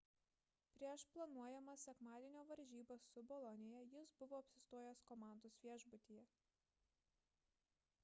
prieš planuojamas sekmadienio varžybas su bolonija jis buvo apsistojęs komandos viešbutyje